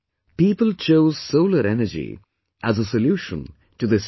People chose solar energy as a solution to this challenge